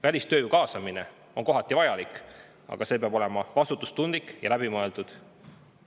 Välistööjõu kaasamine on kohati vajalik, aga see peab olema vastutustundlik ja läbimõeldud.